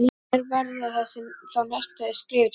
Hver verða þá næstu skref í deilunni?